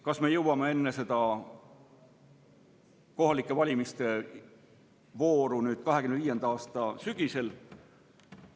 Kas me jõuame seda teha enne kohalikke valimisi 2025. aasta sügisel?